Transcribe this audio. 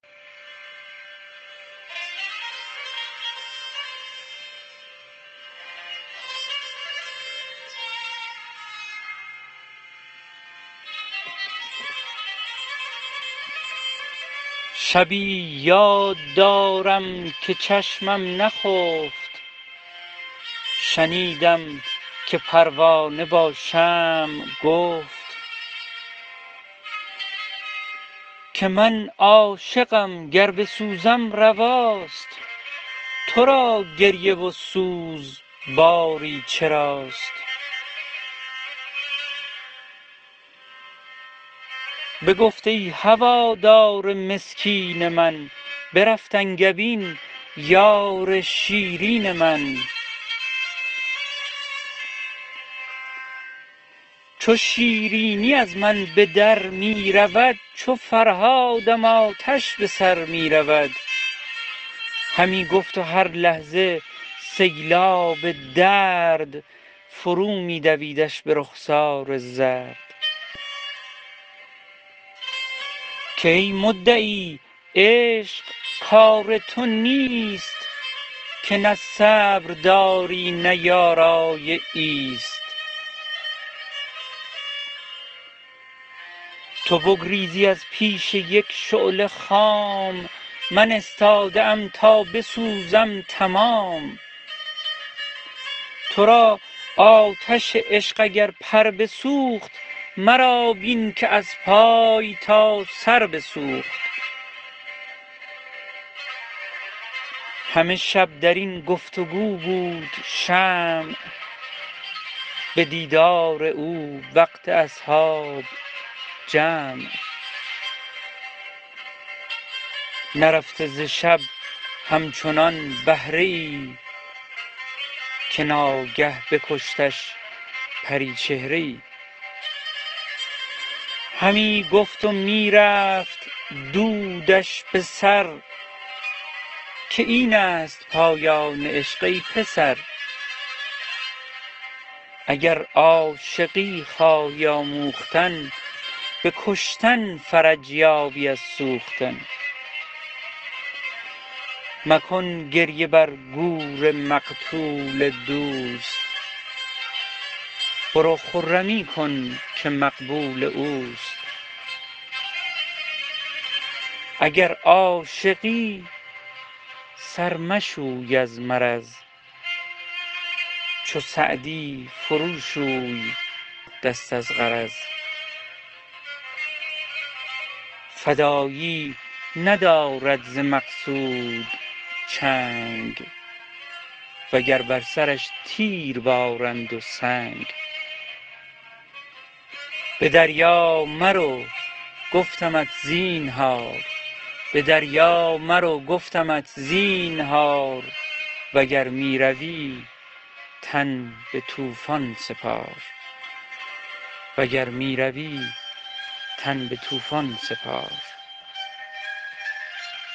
شبی یاد دارم که چشمم نخفت شنیدم که پروانه با شمع گفت که من عاشقم گر بسوزم رواست تو را گریه و سوز باری چراست بگفت ای هوادار مسکین من برفت انگبین یار شیرین من چو شیرینی از من به در می رود چو فرهادم آتش به سر می رود همی گفت و هر لحظه سیلاب درد فرو می دویدش به رخسار زرد که ای مدعی عشق کار تو نیست که نه صبر داری نه یارای ایست تو بگریزی از پیش یک شعله خام من استاده ام تا بسوزم تمام تو را آتش عشق اگر پر بسوخت مرا بین که از پای تا سر بسوخت همه شب در این گفت و گو بود شمع به دیدار او وقت اصحاب جمع نرفته ز شب همچنان بهره ای که ناگه بکشتش پریچهره ای همی گفت و می رفت دودش به سر که این است پایان عشق ای پسر اگر عاشقی خواهی آموختن به کشتن فرج یابی از سوختن مکن گریه بر گور مقتول دوست برو خرمی کن که مقبول اوست اگر عاشقی سر مشوی از مرض چو سعدی فرو شوی دست از غرض فدایی ندارد ز مقصود چنگ و گر بر سرش تیر بارند و سنگ به دریا مرو گفتمت زینهار وگر می روی تن به طوفان سپار